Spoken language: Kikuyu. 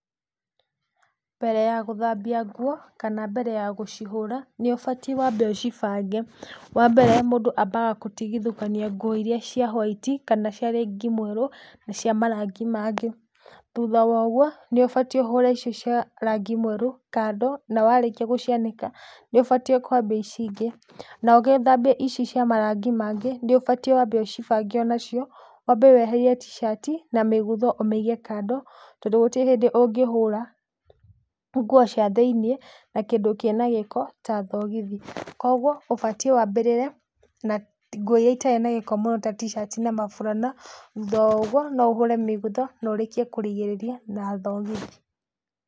Mbere ya gũthambia nguo kana mbere ya gũcihũra nĩ ũbatĩ wambe ũcibange, wambere mũndũ ambaga gũtigithũkania nguo ĩria cia white kana cia rangĩ mwerũ na cia marangi mangĩ. Thutha wa ũguo nĩ ũbatĩ ũhũre icio cia rangĩ mwerũ kando na warĩkia gũcianĩka nĩ ũbatĩ kwambia ici ingĩ na ũgĩthambia ici cia marangĩ mangĩ nĩ ũbatĩ wambe ũcibange onacio, wambe weherie tishati na mĩgutho ũmĩige kando tondũ gũtirĩ hĩndĩ ũngĩhũra nguo cia thĩiniĩ na kĩndũ kĩna gĩko ta thogithi. Koguo ũbatĩ wambĩrĩre na nguo ĩria ĩtarĩ na gĩko mũno ta tishati na maburana thutha wa ũguo no ũhũre mĩgutho na ũrĩkie kũrigĩrĩria na thogithi.